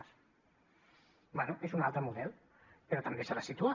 bé és un altre model però també s’ha de situar